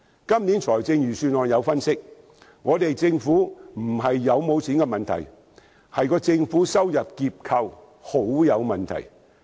今年財政預算案分析，問題不是政府有否盈餘，而是政府收入結構相當有問題。